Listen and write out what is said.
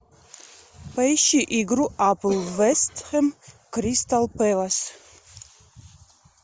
поищи игру апл вест хэм кристал пэлас